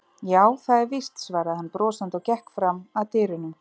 Já, það er víst, svaraði hann brosandi og gekk fram að dyrunum.